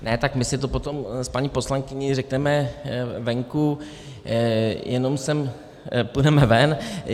Ne, tak my si to potom s paní poslankyní řekneme venku, půjdeme ven .